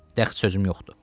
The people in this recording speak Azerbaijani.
Dəxli sözüm yoxdur.